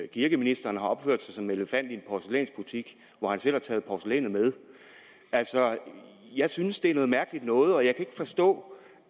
kirkeministeren har opført sig som en elefant i en porcelænsbutik hvor han selv har taget porcelænet med altså jeg synes det er noget mærkelig noget og jeg kan ikke forstå